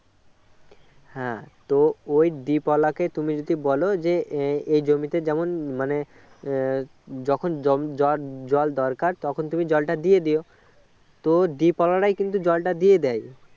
হ্যাঁ তো ঐ deep ওলা কে তুমি যদি বলো যে এই জমিতে যেমন মানে যখন জ~ জল দরকার তখন তুমি জলটা দিয়ে দিও তো deep ওলা রাই কিন্তু জলটা দিয়ে দেয়